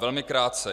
Velmi krátce.